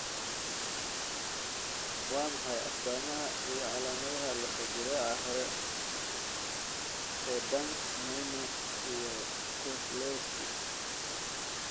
Waa maxay astamahaa iyo calaamadaha lafo-jileeca hore ee Danks Mayne iyo Kozlowski?